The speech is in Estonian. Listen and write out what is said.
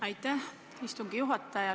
Aitäh, istungi juhataja!